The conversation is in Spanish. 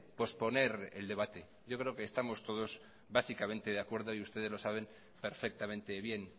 posponer el debate yo creo que estamos todos básicamente de acuerdo y ustedes los saben perfectamente bien